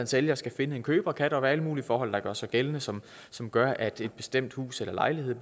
sælger skal finde en køber kan der jo være alle mulige forhold der gør sig gældende som som gør at et bestemt hus eller lejlighed